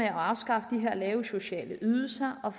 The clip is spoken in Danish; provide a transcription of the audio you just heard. at afskaffe de lave sociale ydelser og